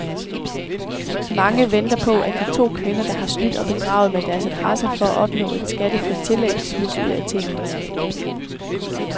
Mange venter på, at de to kvinder, der har snydt og bedraget med deres adresser for at opnå et skattefrit tillæg, smides ud af tinget.